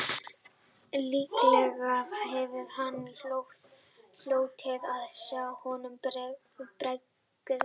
Líklega hefði hann hlotið að sjá honum bregða